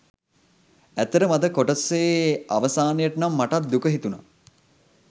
ඇත්තටම අද කොටසේ අවසානයට නම් මටත් දුක හිතුනා.